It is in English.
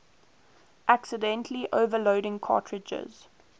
accidentally overloading cartridges